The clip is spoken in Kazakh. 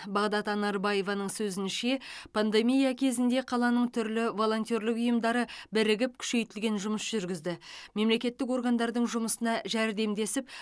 бағдат анарбаеваның сөзінше пандемия кезінде қаланың түрлі волонтерлік ұйымдары бірігіп күшейтілген жұмыс жүргізді мемлекеттік органдардың жұмысына жәрдемдесіп